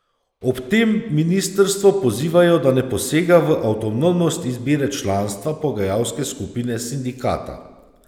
Ob tem ministrstvo pozivajo, da ne posega v avtonomnost izbire članstva pogajalske skupine sindikata.